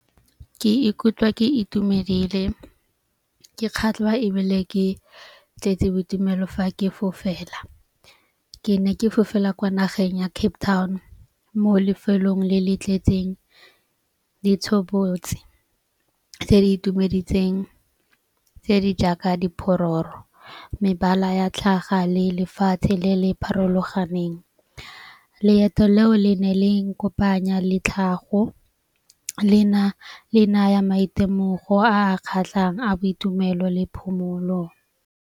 Ke ikutlwa ke itumedile ke kgatlhwa ebile ke tletse boitumelo fa ke fofela. Ke ne ke fofela kwa nageng ya Cape Town mo lefelong le le tletseng ditshobotsi tse di itumeditseng tse di jaaka diphologolo, mebala ya tlhaga le lefatshe le le pharologaneng. Leeto leo le ne le nkopanya le tlhago le na le naya maitemogelo a kgatlhang a boitumelo le phomolo.